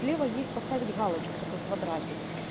с лева есть поставить галочку такой квадратик